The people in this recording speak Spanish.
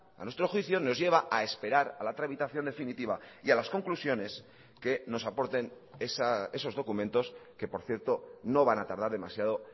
a nuestro juicio nos lleva a esperar a la tramitación definitiva y a las conclusiones que nos aporten esos documentos que por cierto no van a tardar demasiado